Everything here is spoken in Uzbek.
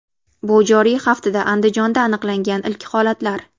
Bu joriy haftada Andijonda aniqlangan ilk holatlar.